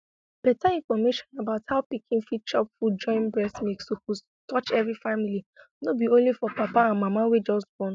beta information about how pikin fit chop food join breast milk suppose touch every family no be only for papa and mama wey just born